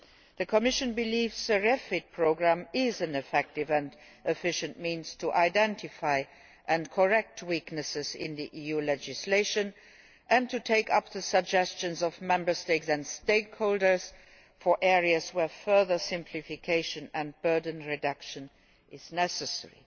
The Commission believes the REFIT programme is an effective and efficient means to identify and correct weaknesses in EU legislation and to take up the suggestions of Member States and stakeholders for areas where further simplification and burden reduction is necessary.